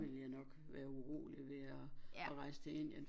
Ville jeg nok være urolig ved at rejse til Indien